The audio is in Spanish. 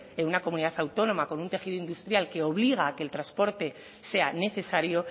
en una comunidad autónoma con un tejido industrial que obliga a que el transporte sea necesario